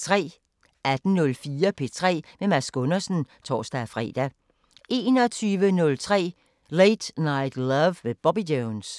18:04: P3 med Mads Gundersen (tor-fre) 21:03: Late Night Love med Bobby Jones